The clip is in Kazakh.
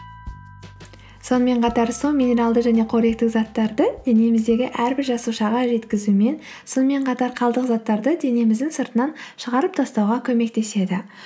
сонымен қатар су минералды және қоректік заттарды денеміздегі әрбір жасушаға жеткізу мен сонымен қатар қалдық заттарды денеміздің сыртынан шығарып тастауға көмектеседі